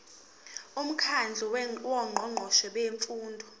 umkhandlu wongqongqoshe bemfundo